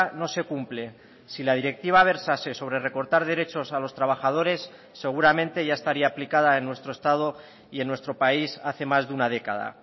no se cumple si la directiva versase sobre recortar derechos a los trabajadores seguramente ya estaría aplicada en nuestro estado y en nuestro país hace más de una década